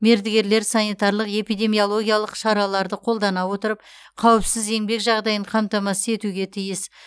мердігерлер санитарлық эпидемиологиялық шараларды қолдана отырып қауіпсіз еңбек жағдайын қамтамасыз етуге тиіс